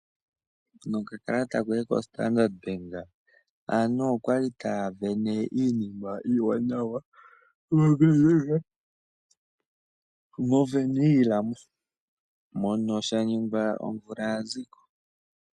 Nokakalata koye koStandard bank ,aantu okwali taa vene iinima iiwanawa moWernhila, mpono sha ningwa omvula ya ziko .